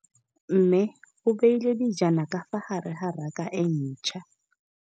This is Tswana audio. Mmê o beile dijana ka fa gare ga raka e ntšha.